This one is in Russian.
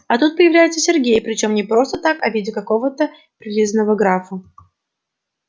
а тут появляется сергей причём не просто так а в виде какого-то прилизанного графа